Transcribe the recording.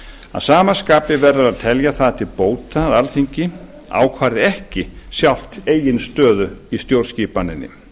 að sama skapi verður að telja það til bóta að alþingi ákvarði ekki sjálft eigin stöðu í stjórnskipaninni þar